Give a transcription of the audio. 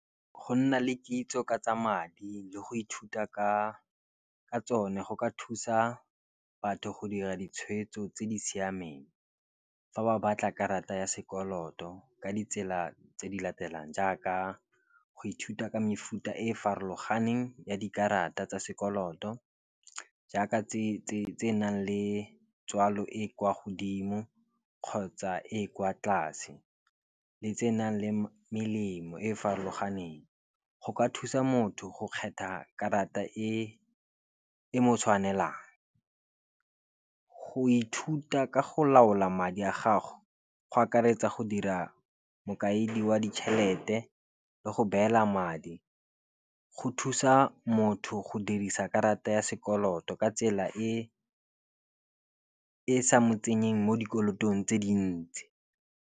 Go nna le kitso ka tsa madi le go ithuta ka tsone go ka thusa batho go dira ditshwetso tse di siameng. Fa ba batla karata ya sekoloto ka ditsela tse di latelang, jaaka go ithuta ka mefuta e farologaneng ya dikarata tsa sekoloto. Jaaka tse di nang le tswalo e kwa godimo kgotsa e e kwa tlase le tsenang le melemo e e farologaneng. Go ka thusa motho go kgetha karata e mo tshwanelang. Go ithuta ka go laola madi a gago go akaretsa go dira mokaedi wa ditšhelete le go beela madi, go thusa motho go dirisa karata ya sekoloto ka tsela e sa mo tsenyeng mo dikolotong tse dintsi.